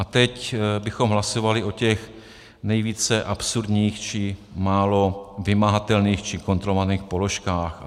A teď bychom hlasovali o těch nejvíce absurdních či málo vymahatelných či kontrolovaných položkách.